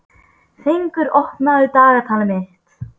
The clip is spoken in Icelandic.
Fengur, opnaðu dagatalið mitt.